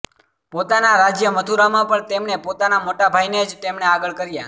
પોતાના રાજ્ય મથુરામાં પણ તેમણે પોતાના મોટાભાઇને જ તેમણે આગળ કર્યાં